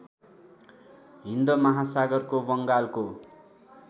हिन्द महासागरको वंगालको